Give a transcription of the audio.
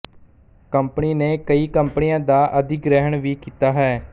company ਨੇ ਕਈ ਕੰਪਨੀਆਂ ਦਾ ਅਧਿਗ੍ਰਹਿਣ ਵੀ ਕੀਤਾ ਹੈ